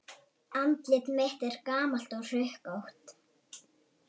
Andlit mitt er gamalt og hrukkótt.